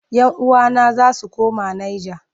Yan uwana za su koma Nijar.